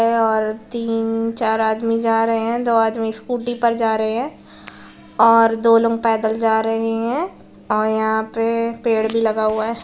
तीन-चार आदमी जा रहे है दो आदमी स्कूटी पे जा रहे है और दो लोग पैदल जा रहे है और यहाँ पे पेड़ भी लगा हुआ है।